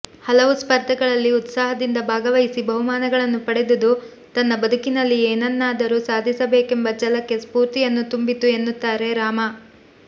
ಹಲವು ಸ್ಪರ್ಧೆಗಳಲ್ಲಿ ಉತ್ಸಾಹದಿಂದ ಭಾಗವಹಿಸಿ ಬಹುಮಾನಗಳನ್ನು ಪಡೆದುದು ತನ್ನ ಬದುಕಿನಲ್ಲಿ ಏನನ್ನಾದರೂ ಸಾದಿಸಬೇಕೆಂಬ ಛಲಕ್ಕೆ ಸ್ಫೂರ್ತಿಯನ್ನು ತುಂಬಿತು ಎನ್ನುತ್ತಾರೆ ರಾಮ